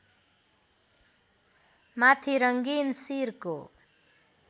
माथि रङ्गीन सिरको